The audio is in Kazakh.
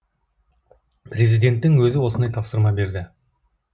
президенттің өзі осындай тапсырма берді